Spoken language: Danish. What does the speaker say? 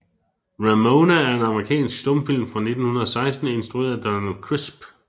Ramona er en amerikansk stumfilm fra 1916 instrueret af Donald Crisp